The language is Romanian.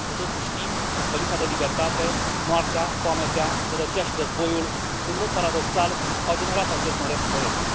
Cu toții știm că lipsa de libertate, moartea, foametea, sărăcia și războiul în mod paradoxal au generat acest măreț proiect.